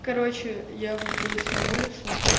короче я выбралась на улицу